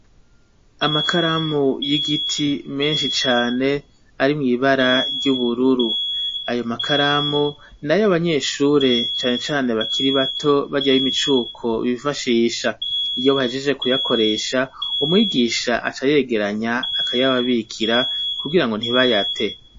Amakaramu y'igiti meshi cane ari mw'bara ry'ubururu ayo makaramu nayo abanyeshure cane cane bakiri bato barya b'imicuko bifashisha iyo bahejeje ku yakoresha umwigisha aca yegeranya akayababikira ku girango ntibayate .